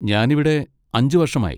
ഞാൻ ഇവിടെ അഞ്ച് വർഷമായി.